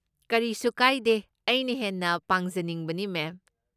ꯀꯔꯤꯁꯨ ꯀꯥꯏꯗꯦ, ꯑꯩꯅ ꯍꯦꯟꯅ ꯄꯥꯡꯖꯅꯤꯡꯕꯅꯤ, ꯃꯦꯝ꯫